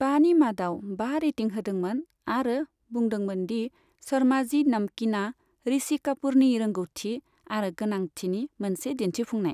बानि मादाव बा रेटिं होदोंमोन आरो बुंदोंमोन दि 'शर्माजी नमकीना' ऋषि कापुरनि रोंग'थि आरो गोनांथिनि मोनसे दिन्थिफुंनाय।